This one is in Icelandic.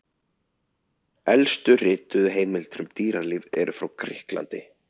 Elstu rituðu heimildir um dýralíf eru frá Grikklandi.